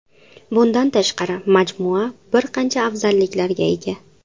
Bundan tashqari majmua bir qancha afzalliklarga ega.